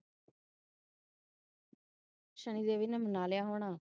ਸ਼ਰੀ ਦੇਵੀ ਨੇ ਮਨਾ ਲਿਆ ਹੋਣਾ